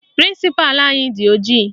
Prịnsịpalụ anyị dị ojii